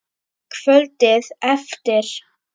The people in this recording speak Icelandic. Kvöldið eftir.